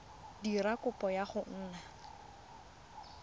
dira kopo ya go nna